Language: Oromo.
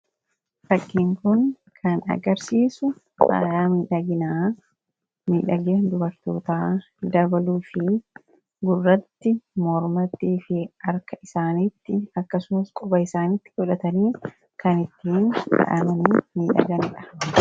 Fakkiin kun kan agarsiisu fayaa miidhagina dubartoota dabaluu fi gurratti, moormatii fi harka isaanitti akkasumas quba isaantti fohataniin kan ittiin faayamanii miidhaganidha.